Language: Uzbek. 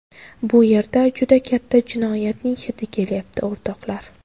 Bu yerda juda katta jinoyatning hidi kelyapti, o‘rtoqlar!